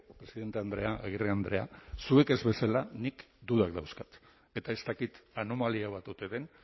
presidente andrea agirre andrea zuek ez bezala nik dudak dauzkat eta ez dakit anomalia bat ote den